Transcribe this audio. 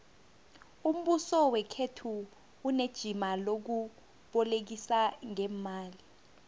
umbuso wekhethu unejima lokubolekisa ngeemali